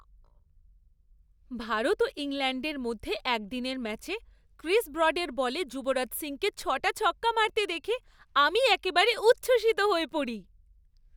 ভারত ও ইংল্যাণ্ডের মধ্যে একদিনের ম্যাচে ক্রিস ব্রডের বলে যুবরাজ সিংকে ছ'টা ছক্কা মারতে দেখে আমি একেবারে উচ্ছসিত হয়ে পড়ি।